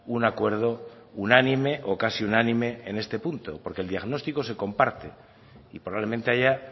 un acuerdo unánime o casi unánime en este punto porque el diagnostico se comparte y probablemente haya